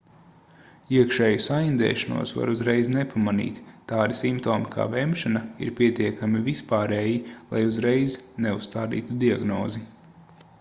iekšēju saindēšanos var uzreiz nepamanīt tādi simptomi kā vemšana ir pietiekami vispārēji lai uzreiz neuzstādītu diagnozi